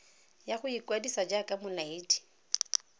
ya go ikwadisa jaaka molaedi